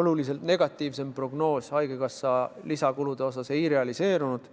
oluliselt negatiivsem prognoos haigekassa lisakulude kohta ei realiseerunud.